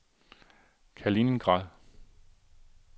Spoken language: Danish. Kaliningrad